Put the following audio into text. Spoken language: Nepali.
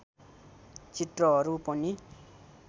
चित्रहरू पनि